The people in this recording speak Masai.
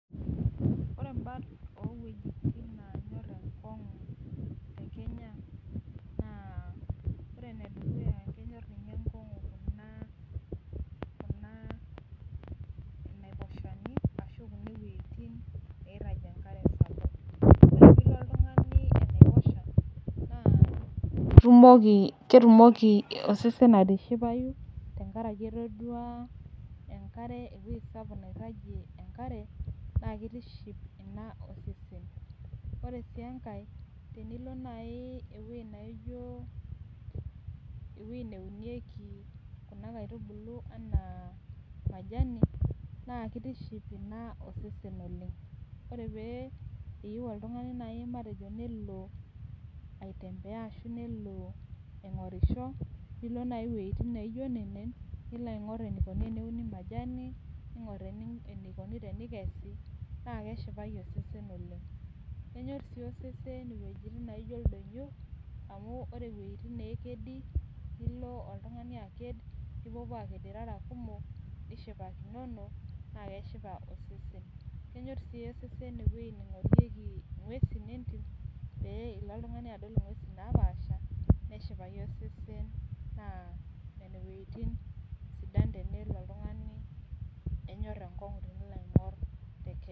ore baat oo ewejitin neenyor enkongu tekenya naa ore eneduku naa inaiposhani ashu kune wejitin naa ketumoki osesen atishipai amu kenyor osesen enkare , ore sii angae tinilo naaji eweji nitobirieki kuna aitubulu anaa majani naa kitiship osesen oleng tinilo naaji aing'or iwejitin naijo nenen niyiolou enikoni teneikesi, kenyor sii osesen iewejitin neekedi enaa ildonyo nipuopuo aing'or irara kumok nishipakinono naa kenyor sii osesen nepui aingor ing'uesin entim pee ilo oltung'ani adol ing'uesin naapasha.